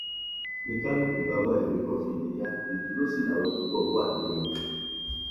ni kálukú bá wá ibì kan fìdí há ìdúró sí làwọn púpọ wà nínú wọn